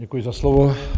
Děkuji za slovo.